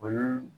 O ye